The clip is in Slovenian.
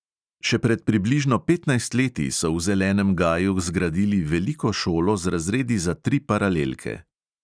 Še pred približno petnajst leti so v zelenem gaju zgradili veliko šolo z razredi za tri paralelke.